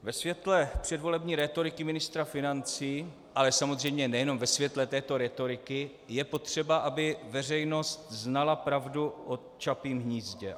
Ve světle předvolební rétoriky ministra financí, ale samozřejmě nejenom ve světle této rétoriky je potřeba, aby veřejnost znala pravdu o Čapím hnízdě.